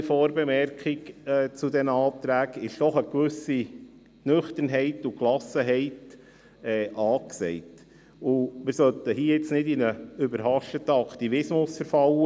Bei allem Respekt vor dem Abstimmungsresultat, ist doch eine gewisse Nüchternheit und Gelassenheit angesagt, und wir sollten hier nun nicht in einen überhasteten Aktivismus verfallen.